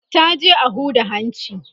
ta je a Huda hanci